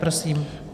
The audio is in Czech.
Prosím.